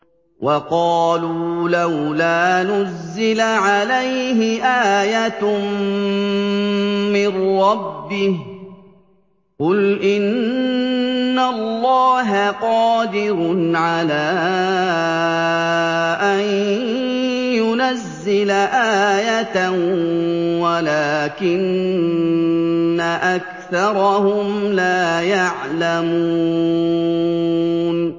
وَقَالُوا لَوْلَا نُزِّلَ عَلَيْهِ آيَةٌ مِّن رَّبِّهِ ۚ قُلْ إِنَّ اللَّهَ قَادِرٌ عَلَىٰ أَن يُنَزِّلَ آيَةً وَلَٰكِنَّ أَكْثَرَهُمْ لَا يَعْلَمُونَ